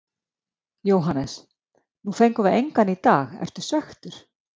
Jóhannes: Nú fengum við engan í dag, ertu svekktur?